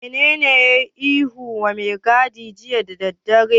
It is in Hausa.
Wanene ya yiwa mai gadin ihu jiya da daddare?